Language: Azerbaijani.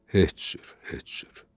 Heç cür, heç cür.